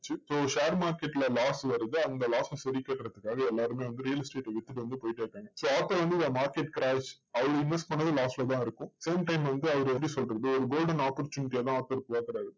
so share market ல loss வருது. அந்த loss அ சரி கட்டுதற்காக எல்லாருமே வந்து real estate வித்துட்டு வந்துட்டு வந்து போயிட்டே இருக்காங்க. so author வந்து market crash அவரு invest பண்ணுனதும் loss ல தான் இருக்கும். same time வந்து அவர் எப்படி சொல்றது? ஒரு golden opportunity யா தான் author பாக்குறாரு.